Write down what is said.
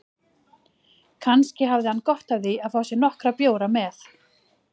Kannski hafði hann gott af því að fá sér nokkra bjóra með